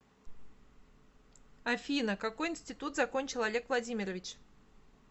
афина какой институт закончил олег владимирович